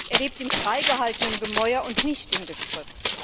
Er lebt im frei gehaltenen Gemäuer und nicht im Gestrüpp.